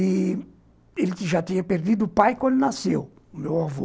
E ele já tinha perdido o pai quando nasceu, o meu avô.